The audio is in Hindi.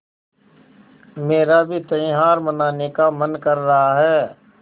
मेरा भी त्यौहार मनाने का मन कर रहा है